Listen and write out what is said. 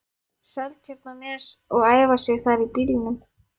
Seltjarnarnes og æfa sig þar í bílnum.